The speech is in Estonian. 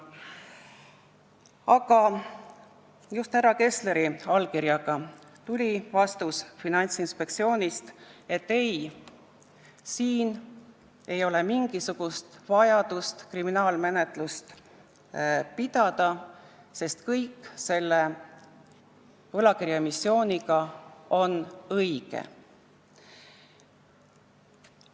Aga just härra Kessleri allkirjaga tuli vastus Finantsinspektsioonist, et ei, siin ei ole mingisugust vajadust kriminaalmenetluse järele, sest kõik selle võlakirjaemissiooniga seonduv on õige.